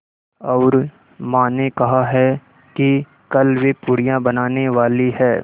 और माँ ने कहा है कि कल वे पूड़ियाँ बनाने वाली हैं